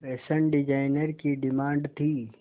fashion designer की demand थी